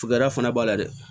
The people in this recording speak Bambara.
Tugura fana b'a la dɛ